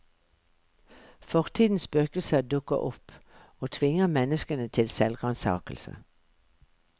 Fortidens spøkelser dukker opp og tvinger menneskene til selvransakelse.